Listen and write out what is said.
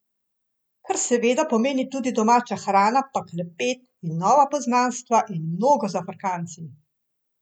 Kar seveda pomeni tudi domača hrana pa klepet in nova poznanstva in mnogo zafrkancij.